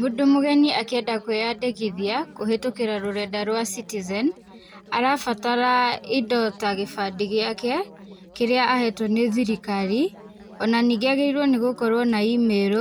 Mũndũ mũgeni akĩenda kwĩyandĩkithia kũhĩtũkĩra rũrenda rwa E-Citizen arabatara indo ta gĩbandĩ gĩake kĩrĩa ahetwo nĩ thirikari, ona ningĩ agĩrĩirwo nĩgũkorwo na email